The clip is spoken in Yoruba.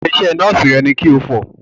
Aṣọ iṣẹ́ Nọ́ọ̀sì rẹ ni kí o fọ̀!